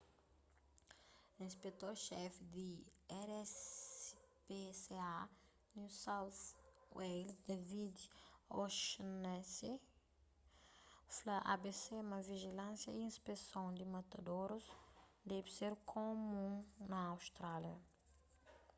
inspetor xefi di rspca new south wales david o'shannessy fla abc ma vijilânsia y inspeson di matadorus debe ser kumun na austrália